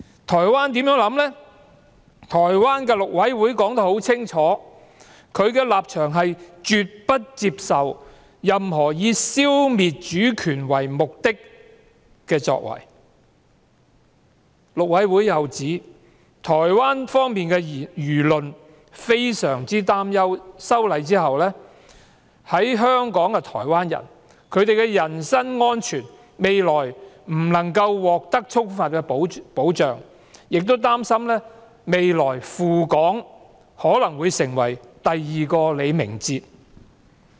台灣的陸委會表明了立場，是絕不接受任何以消滅主權為目的的作為，陸委會又指台灣輿論非常擔憂修例後在港台灣人的人身安全不能獲得充分保障，亦擔心未來赴港的台灣人可能會成為第二個李明哲。